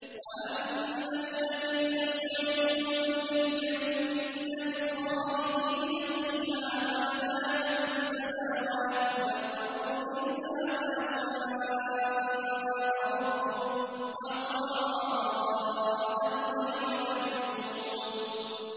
۞ وَأَمَّا الَّذِينَ سُعِدُوا فَفِي الْجَنَّةِ خَالِدِينَ فِيهَا مَا دَامَتِ السَّمَاوَاتُ وَالْأَرْضُ إِلَّا مَا شَاءَ رَبُّكَ ۖ عَطَاءً غَيْرَ مَجْذُوذٍ